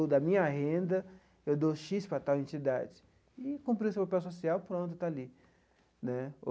Ou, da minha renda, eu dou xis para tal entidade e, cumpriu seu papel social, pronto, está ali né.